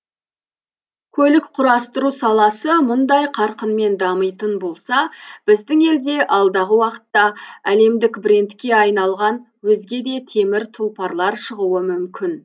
көлік құрастыру саласы мұндай қарқынмен дамитын болса біздің елде алдағы уақытта әлемдік брендке айналған өзге де темір тұлпарлар шығуы мүмкін